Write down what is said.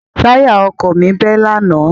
Táyà ọkọ̀ mi bẹ́ lánàá.